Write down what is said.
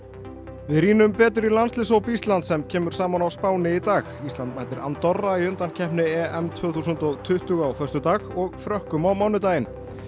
við rýnum betur í landsliðshóp Íslands sem kemur saman á Spáni í dag mætir Andorra í undankeppni tvö þúsund og tuttugu á föstudag og Frökkum á mánudaginn